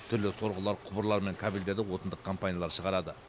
түрлі сорғылар құбырлар мен кабельдерді отандық компаниялар шығарады